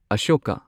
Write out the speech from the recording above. Ashoka